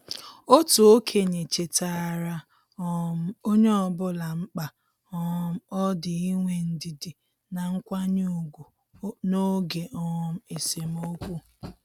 Otu okenye chetaara um onye ọbụla mkpa um ọ dị inwe ndidi na nkwanye ùgwù n' oge um esemokwu.